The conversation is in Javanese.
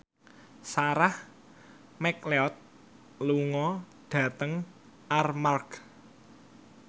Sarah McLeod lunga dhateng Armargh